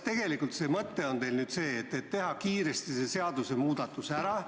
Tegelikult on teie mõte nüüd kiiresti see seadusmuudatus ära teha.